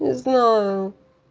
не знаю